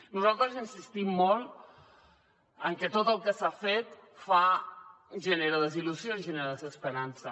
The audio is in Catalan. nosaltres insistim molt en que tot el que s’ha fet genera desil·lusió i genera desesperança